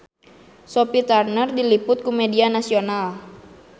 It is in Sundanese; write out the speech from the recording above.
Sophie Turner diliput ku media nasional